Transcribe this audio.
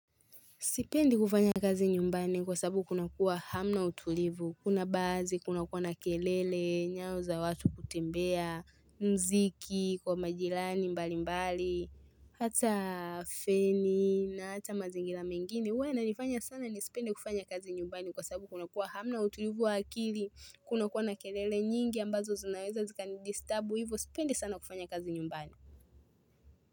Sipendi kufanya kazi nyumbani kwasababu kuna kua hamna utulivu, kuna baazi, kunakua na kelele, nyao za watu kutembea, muziki, kwamajirani, mbali mbali, hata feni na hata mazingira mengine. Hua i inifanya sana n sipende kufanya kazi nyumbani kwa sababu kunakua hamna utulivu wa akili, kunakua na kelele nyingi ambazo zinaweza zika ni disturb, hivo sipendi sana kufanya kazi nyumbani.